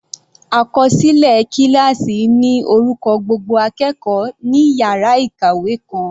Àkọsílẹ kíláásì ní orúkọ gbogbo akẹ́kọ̀ọ́ ní yàrá ìkàwé kan.